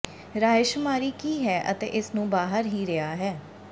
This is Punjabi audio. ਰਾਏਸ਼ੁਮਾਰੀ ਕੀ ਹੈ ਅਤੇ ਇਸ ਨੂੰ ਬਾਹਰ ਹੀ ਰਿਹਾ ਹੈ